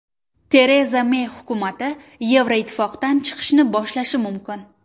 Tereza Mey hukumati Yevroittifoqdan chiqishni boshlashi mumkin.